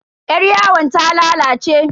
Yaryawon ta lalace.